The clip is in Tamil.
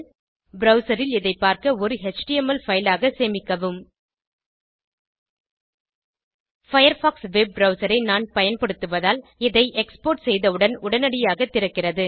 ப்ரவ்சர் ல் இதை பார்க்க ஒரு எச்டிஎம்எல் பைல் ஆக சேமிக்கவும் பயர்ஃபாக்ஸ் வெப் ப்ரவ்சர் ஐ நான் பயன்படுத்துவதால் இதை எக்ஸ்போர்ட் செய்தவுடன் உடனடியாக திறக்கிறது